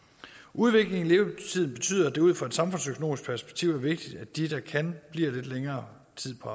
udviklingen i levetid betyder at det ud fra et samfundsøkonomisk perspektiv er vigtigt at de der kan bliver lidt længere tid på